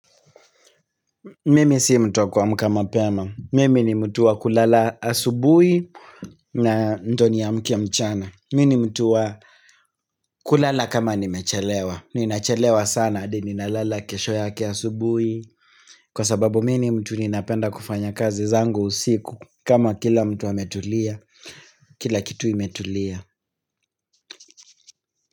Mimi si mtu wa kuamka mapema. Mimi ni mtu wa kulala asubui na ndo ni amke mchana. Mimi ni mtu wa kulala kama nimechelewa. Ninachelewa sana hadi nina lala kesho yake asubui. Kwa sababu mi ni mtu ninapenda kufanya kazi zangu usiku kama kila mtu ametulia. Kila kitu imetulia.